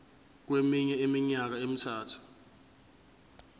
kweminye iminyaka emithathu